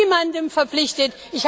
Ich bin niemandem verpflichtet.